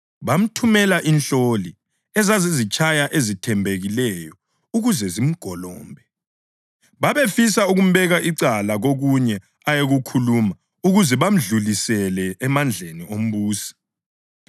Bamthumela inhloli ezazizitshaya ezithembekileyo ukuze zimgolombe. Babefisa ukumbeka icala kokunye ayengakukhuluma ukuze bamedlulisele emandleni ombusi.